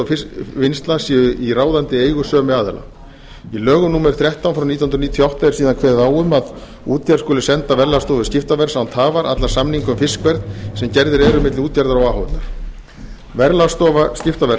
fiskvinnsla séu í ráðandi eigu sömu aðila í lögum númer þrettán nítján hundruð níutíu og átta er síðan kveðið á um að útgerð skuli senda verðlagsstofu skiptaverðs án tafar alla samninga um fiskverð sem gerðir eru milli útgerða o h f verðlagsstofa skiptaverðs